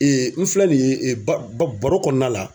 n filɛ nin ye ba baro kɔnɔna la.